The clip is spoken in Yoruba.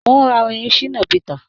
Mò ń ra orin Shina peter